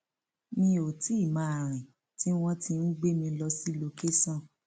mi ò tí ì máa rìn tí wọn ti ń gbé mi lọ sí lọkẹsàn